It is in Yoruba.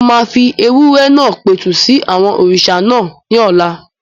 Mo máa fi ewúrẹ́ náà pẹ̀tù sí àwọn òrìṣà náà ní ọ̀la